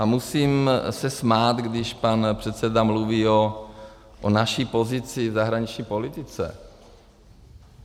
A musím se smát, když pan předseda mluví o naší pozici v zahraniční politice.